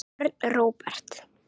Björn Róbert.